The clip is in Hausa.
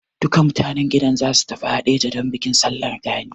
Duka mutan gidan za su tafi Haɗeja don bikin Sallar Gani.